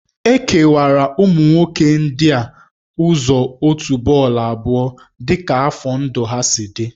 E kewara ụmụ nwoke ndị a ụzọ òtù bọọlụ abụọ dị ka afọ ndụ ha si dị